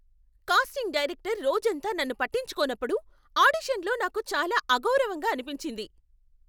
Casting director రోజంతా నన్ను పట్టించుకోనప్పుడు ఆడిషన్లో నాకు చాలా అగౌరవంగా అనిపించింది.